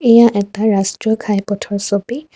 এয়া এটা ৰাষ্ট্ৰীয় ঘাই পথৰ ছবি।